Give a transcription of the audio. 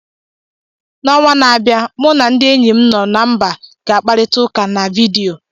N’ọnwa na-abịa, mụ na ndị enyi m no na mba ga-akparịta ụka na vidiyo.